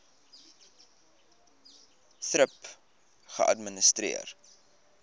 thrip geadministreer